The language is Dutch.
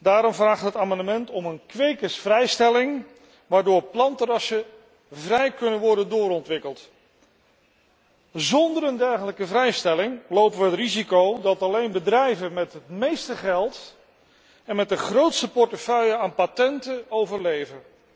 Daarom vragen we in het amendement om een kwekersvrijstelling waardoor plantenrassen vrij kunnen worden doorontwikkeld. Zonder een dergelijke vrijstelling lopen we het risico dat alleen bedrijven met het meeste geld en met de grootste portefeuille aan patenten, overleven.